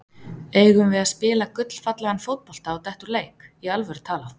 Eigum við að spila gullfallegan fótbolta og detta úr leik, í alvöru talað?